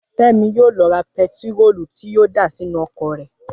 Fẹ́mi yóò lo ra pẹtiróòlù tí yóò dà sínú ọkọ̀ rẹ̀